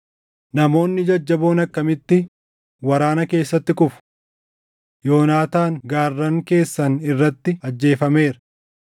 “Namoonni jajjaboon akkamitti waraana keessatti kufu! Yoonaataan gaarran keessan irratti ajjeefameera.